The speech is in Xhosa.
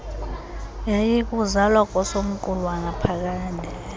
yayikukuzalwa kosomqulu wanaphakade